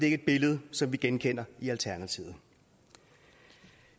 ikke et billede som vi genkender i alternativet